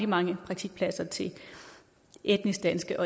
mange praktikpladser til etnisk danske